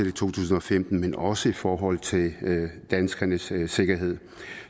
i to tusind og femten men også i forhold til danskernes sikkerhed